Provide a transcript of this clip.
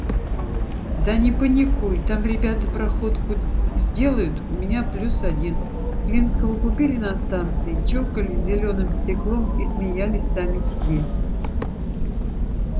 да не паникуй там ребята проходку сделают у меня плюс один клинского купили на станции чокались зелёным стеклом и смеялись сами себе